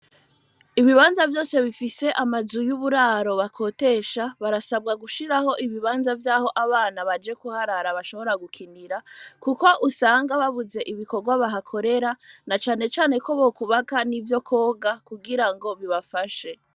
Ibibanza vyose bifise amazu y'uburaro bakotesha barasabwa gushiraho ibibanza vyaho abana baje kuharara bashobora gukinira kuko usanga babuze ibikorwa bahakorera na cane cane ko bokwubaka nivyo kwoga kugira ngo bibafashe.